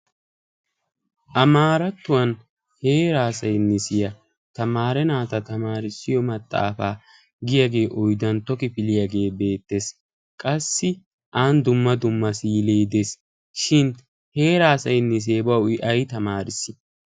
Amaarattuwaan heeraa saynisiyaa tamaare naataa tamaarissiyo maxaafaa giyaage oyddantto kifiliyaage beettees. Qassi aani dumma dumma misile de'ees, shin heeraa saynisee bawu i ayi tamaarissi?